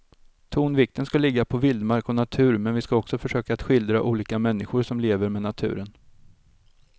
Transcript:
Tonvikten ska ligga på vildmark och natur men vi ska också försöka att skildra olika människor som lever med naturen.